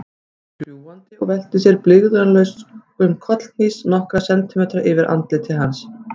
Hún kom fljúgandi og velti sér í blygðunarlausum kollhnís nokkra sentimetra yfir andliti hans.